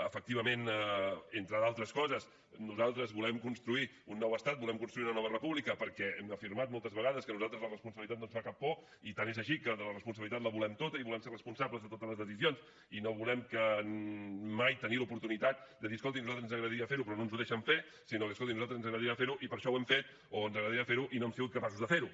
efectivament entre d’altres coses nosaltres volem construir un nou estat volem construir una nova república perquè hem afirmat moltes vegades que a nosaltres la responsabilitat no ens fa cap por i tant és així que la responsabilitat la volem tota i volem ser responsables de totes les decisions i no volem mai tenir l’oportunitat de dir escolti a nosaltres ens agradaria fer ho però no ens ho deixen fer sinó que escolti a nosaltres ens agradaria fer ho i per això ho hem fet o ens agradaria fer ho i no hem sigut capaços de fer ho